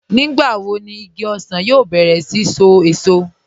Nígbàwò ní ìgí òṣan yóò bẹ̀rẹ̀ sí ṣó èṣọ̀?